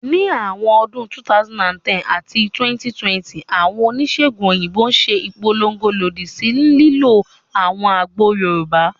Ní àárín ọdún 2010 àti 2020, àwọn oníṣèègùn òyìnbó ṣe ìpolongo lòdì sí ìlò àwọn àgbo Yorùbá